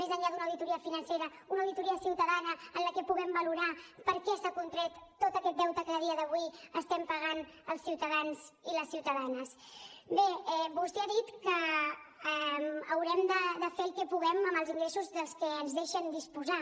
més enllà d’una auditoria financera una auditoria ciutadana en la que puguem valorar per què s’ha contret tot aquest deute que a dia d’avui estem pagant els ciutadans i les ciutadanes bé vostè ha dit que haurem de fer el que puguem amb els ingressos dels que ens deixen disposar